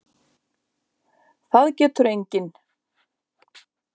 Það getur enginn.